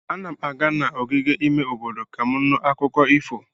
Ana m aga n'ogige ime obodo ka m nụ akụkọ ifo.